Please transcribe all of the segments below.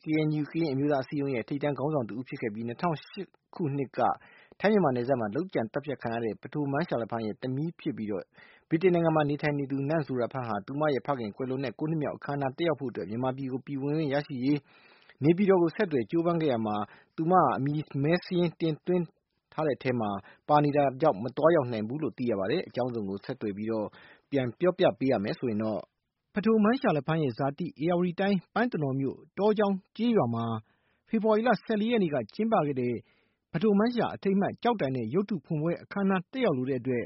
KNU ကရင်အမျိုးသားအစည်းရုံးရဲ့ ထိပ်တန်းခေါင်းဆောင်တဦးဖြစ်ခဲ့ပြီး ၂၀၀၈ ခုနှစ်က ထိုင်းမြန်မာနယ်စပ်မှာ လုပ်ကြံသတ်ဖြတ်ခံခဲ့ရတဲ့ ဖဒိုမန်းရှာလဖန်းရဲ့ သမီးဖြစ်ပြီး လက်ရှိ ဗြိတိန်နိုင်ငံမှာ နေထိုင်နေသူ နန့်ဇိုရာဖန်းဟာ သူမရဲ့ဖခင် ကွယ်လွန်တဲ့ ၉ နှစ်မြောက် အခမ်းနား တက်ရောက်ဖို့အတွက် မြန်မာနိုင်ငံ ပြည်ဝင်ခွင့်ဗီဇာရရှိရေး နေပြည်တော်ကို ဆက်သွယ်ပြီး ကြိုးစားခဲ့ရာမှာ သူမဟာ အမည်မည်းစာရင်း သွင်းထားခံရတဲ့အထဲမှာ ပါနေတဲ့အတွက် မသွားရောက်နိုင်ခဲ့ဘူးလို့ သိရပါတယ်။ အကြောင်းစုံကို ဆက်သွယ် မေးမြန်းထားတဲ့ ဦးစံမိုေ၀ က တင်ပြထားပါတယ်။ ဖဒိုမန်းရှာလဖန်းရဲ့ ဇာတိ ဧရာဝတီတိုင်း ပန်းတနော်မြို့ တောကျောင်းကျေးရွာမှာ ဖေဖော်ဝါရီလ ၁၄ ရက်နေ့က ကျင်းပတဲ့ ဖဒိုမန်းရှာ အထိမ်းမှတ် ကျောက်တိုင်နဲ့ ရုပ်ထုဖွင့်ပွဲအခမ်းနား တက်ရောက်လိုတဲ့အတွက်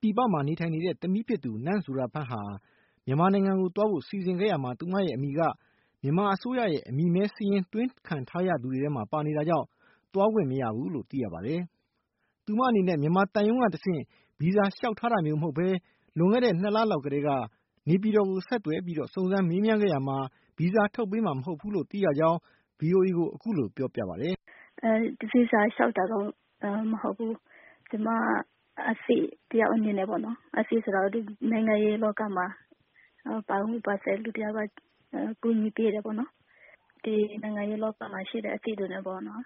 ပြည်ပမှာ နေထိုင်နေတဲ့ သမီးဖြစ်သူ နန့်ဇိုရာဖန်းဟာ မြန်မာနိုင်ငံကို သွားဖို့ စီစဉ်ခဲ့ရာမှာ သူမရဲ့အမည်က မြန်မာအစိုးရရဲ့ အမည်မည်းစာရင်း သွင်းထားခံရသူတွေထဲမှာ ပါနေတာကြောင့် သွားခွင့်မရခဲ့ဘူးလို့ သိရပါတယ်။ သူမအနေနဲ့ မြန်မာသံရုံးကတဆင့် ဗီဇာလျှောက်ထားတာမျိုး မဟုတ်ဘဲ လွန်ခဲ့တဲ့ ၂ လလောက်ကတည်းက နေပြည်တော်ကို ဆက်သွယ်ပြီးတော့ စုံစမ်းမေးမြန်းခဲ့ရာမှာ ဗီဇာထုတ်ပေးမှာ မဟုတ်ဘူးလို့ သိရခဲ့ကြောင်း အခုလို ဗွီအိုအေကို ပြောပါတယ်။ “ဗီဇာလျှောက်တာတော့မဟုတ်ဘူး။ ကျမအသိတယောက်အနေနဲ့ပေါ့နော် အသိဆိုတာ နိုင်ငံရေးလောကမှာ ပါဝင်ပတ်သက်တဲ့လူတယောက်က ဒီနိုင်ငံရေးလောကမှာရှိတဲ့ အသိတွေနဲ့ပေါ့နော်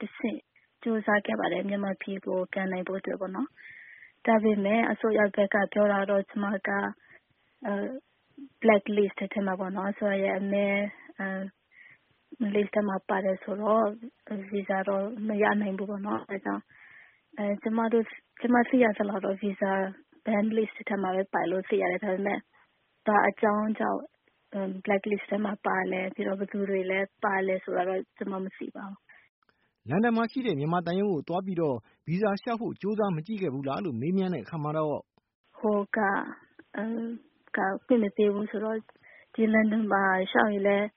တဆင့် ကြိုးစားခဲ့ပါတယ် မြန်မာနိုင်ငံကို ပြန်နိုင်ဖို့အတွက်ပေါ့နော်။ ဒါပေမဲ့ အစိုးရဘက်က ပြောတာကတော့ ကျမက black list ထဲမှာပေါ့နော် ပါတယ်ဆိုတော့ ဗီဇာတော့ မရနိုင်ဘူးပေါ့နော်။ အဲဒါကြောင့် ကျမသိရသလောက်တော့ ဗီဇာပိတ်တဲ့စာရင်းထဲမှာပဲ ပါတယ်လို့ သိရတယ်။ ဘာအကြောင်းကြောင့် black list ထဲမှာပါလဲ။ ဘာအကြောင်းကြောင့် ပါသလဲဆိုတာတော့ ကျမ မသိပါဘူး။” လန်ဒန်မှာရှိတဲ့ သံရုံးကိုသွားပြီး ဗီဇာလျှောက်ဖို့ ကြိုးစားမကြည့်ခဲ့ဘူးလားလို့ မေးကြည့်တဲ့အခါမှာတော့- “ဟိုက ခွင့်မပေးဘူးဆိုတော့ ဒီလန်ဒန်မှာ လျှောက်ရင်လည်း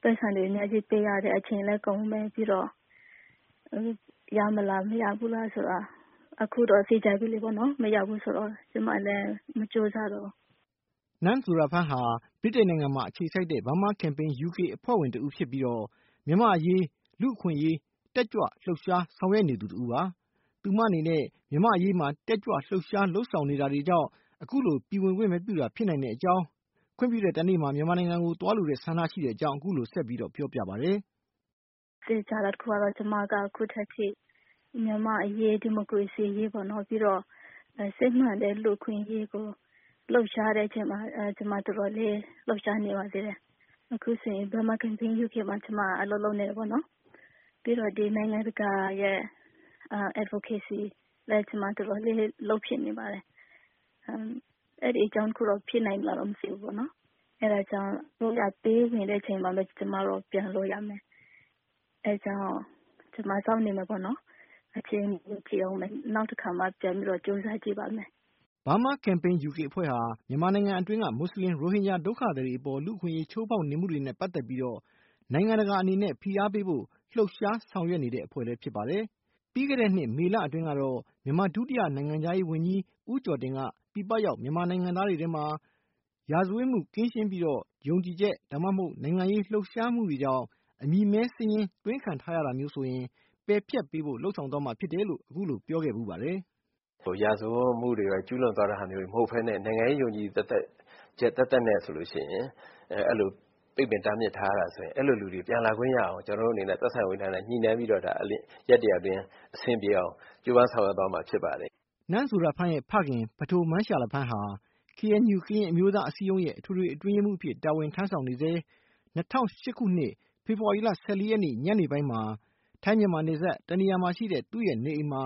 ပိုက်ဆံတွေ အများကြီးပေးရတယ်။ အချိန်လည်းကုန်မယ်။ ပြီးတော့ ရမလား - မရဘူးလားဆိုတာ အခုတော့ သေချာပြီလေနော်။ မရဘူးဆိုတော့ ကျမလည်း မကြိုးစားတော့ဘူး။” နန့်ဇိုရာဖန်းဟာ ဗြိတိန်နိုင်ငံမှာ အခြေစိုက်တဲ့ Burma Campaign UK အဖွဲ့ဝင်တဦးဖြစ်ပြီး၊ မြန်မာ့အရေး လူ့အခွင့်အရေး တက်ကြွလှုပ်ရှား ဆောင်ရွက်နေသူပါ။ သူမအနေနဲ့ မြန်မာ့အရေးမှာ တက်ကြွလှုပ်ရှားမှု လုပ်ဆောင်နေတာကြောင့် အခုလိုပြည်ဝင်ခွင့် မပြုတာ ဖြစ်နိုင်ကြောင်း၊ ခွင့်ပြုတဲ့တနေ့မှာ မြန်မာနိုင်ငံကို သွားလိုတဲ့ ဆန္ဒရှိကြောင်း အခုလို ဆက်ပြောပြပါတယ်။ “သေချာတာတခုကတော့ ကျမက ခုထက်ထိ မြန်မာ့အရေး၊ ဒီမိုကရေစီအရေး၊ စစ်မှန်တဲ့ လူ့အခွင့်အရေးကို လှုပ်ရှားတဲ့အချိန်မှာ ကျမ တော်တော်လေး လှုပ်ရှားနေပါသေးတယ်။ အခုဆိုရင် ကျမက Burma Campaign UK မှာ ကျမက အလုပ်လုပ်နေတယ်ပေါ့နော်။ ပြီးတော့ နိုင်ငံတကာရဲ့ Advocacy လည်း ကျမ တော်တော်လေး လုပ်ဖြစ်နေပါတယ်။ အဲဒီအကြောင်းကြောင့် ဖြစ်နိုင်မလားတော့ မသိဘူးပေါ့နော်။ အဲဒါကြောင့် အစိုးရက ပေးဝင်တဲ့အချိန်မှ ကျမတို့က ပြန်လို့ရမယ်။ ကျမကတော့ စောင့်နေမယ်ပေါ့နော်။ နောက်မှပဲ ထပ် ကြိုးစားကြည့်ပါမယ်။” Burma Campaign UK ဟာ မြန်မာနိုင်ငံအတွင်းက မွတ်ဆလင်ရိုဟင်ဂျာ ဒုက္ခသည်တွေအပေါ် လူ့အခွင့်ရေး ချိုးဖောက်နေမှုတွေနဲ့ ပတ်သက်ပြီး နိုင်ငံတကာအနေနဲ့ ဖိအားပေးဖို့ လှုပ်ရှားဆောင်ရွက်နေတဲ့ အဖွဲ့လည်း ဖြစ်ပါတယ်။ ပြီးခဲ့တဲ့နှစ် မေလအတွင်းတုန်းကတော့ မြန်မာဒုတိယနိုင်ငံခြားရေးဝန်ကြီး ဦးကျော်တင်က ပြည်ပရောက် မြန်မာနိုင်ငံသားတွေအနေနဲ့ ရာဇဝတ်မှု ကင်းရှင်းပြီး ယုံကြည်ချက်၊ နိုင်ငံရေးလှုပ်ရှားခဲ့မှုကြောင့် အမည်မည်းစာရင်း သွင်းခံထားရတာမျိုးဆိုရင် ပယ်ဖျက်ပေးဖို့ လုပ်သွားမှာပါလို့ အခုလို ပြောခဲ့ဖူးပါတယ်။ “ရာဇဝတ်ကျူးလွန်သွားတာမျိုးတွေ မဟုတ်ဘဲနဲ့ နိုင်ငံရေးယုံကြည်ချက် သက်သက်နဲ့ဆိုရင် ပိတ်ပင်တားမြစ်ထားတာဆိုရင် အဲ့လိုလူတွေ ပြန်လာခွင့်ရအောင် ကျနော်တို့က သက်ဆိုင်ရာဝန်ကြီးဌာနနဲ့ ညှိနှိုင်းပြီးမှ ရက် ၁၀၀ အတွင်း အဆင်ပြေအောင် ကြိုးပမ်းဆောင်ရွက်သွားမှာ ဖြစ်ပါတယ်။” နန့်ဇိုရာဖန်းရဲ့ ဖခင် ဖဒိုမန်းရှာလဖန်းဟာ KNU ကရင်အမျိုးသားအစည်းရုံးရဲ့ အထွေထွေအတွင်းရေးမှူးအဖြစ် တာဝန်ထမ်းဆောင်နေဆဲ လွန်ခဲ့တဲ့ ၂၀၀၈ ခုနှစ်ခန့်က ဖေဖော်ဝါရီလ ၁၄ ရက် ညနေပိုင်းမှာ ထိုင်း-မြန်မာနယ်စပ် တနေရာမှာရှိတဲ့ သူရဲ့နေအိမ်မှာ